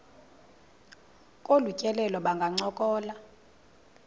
kolu tyelelo bangancokola